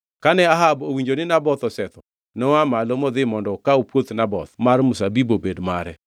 Kane Ahab owinjo ni Naboth osetho, noa malo modhi mondo okaw puoth Naboth mar mzabibu obed mare.